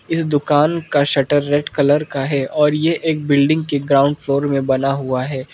इस दुकान का शटर रेड कलर का है और ये एक बिल्डिंग के ग्राउंड फ्लोर में बना हुआ है।